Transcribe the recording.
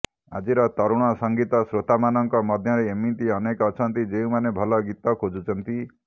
ଆଜିର ତରୁଣ ସଙ୍ଗୀତ ଶ୍ରୋତାମାନଙ୍କ ମଧ୍ୟରେ ଏମିତି ଅନେକ ଅଛନ୍ତି ଯେଉଁମାନେ ଭଲ ଗୀତ ଖୋଜୁଛନ୍ତି